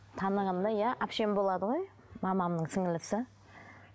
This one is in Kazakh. танығанымда иә әпшем болады ғой мамамның сіңлілісі